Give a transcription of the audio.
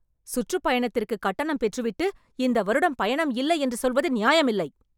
சுற்றுப் பயணத்திற்கு கட்டணம் பெற்று விட்டு, இந்த வருடம் பயணம் இல்லை என்று சொல்வது நியாயமில்லை